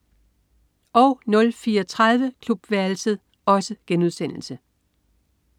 04.30 Klubværelset*